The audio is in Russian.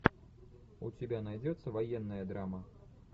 у тебя найдется военная драма